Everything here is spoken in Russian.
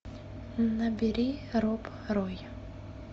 набери роб рой